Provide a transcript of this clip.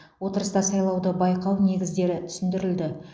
отырыста сайлауды байқау негіздері түсіндірілді